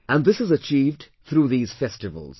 And this is achieved through these festivals